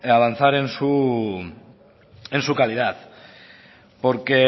avanzar en su calidad porque